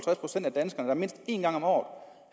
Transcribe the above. procent af danskerne mindst en gang om